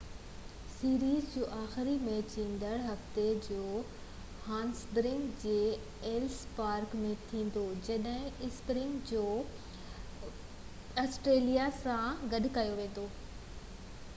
series جو آخري match ايندڙ هفتي جوهانسبرگ جي ايلس پارڪ ۾ ٿيندو جڏهن اسپرنگ بوڪس آسٽريليان سان کيڏيندو